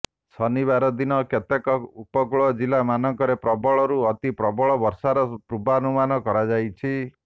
ଶନିବାର ଦିନ କେତେକ ଉପକୂଳ ଜିଲ୍ଲା ମାନଙ୍କରେ ପ୍ରବଳରୁ ଅତି ପ୍ରବଳ ବର୍ଷାର ପୂର୍ବାନୁମାନ କରାଯାଇଛି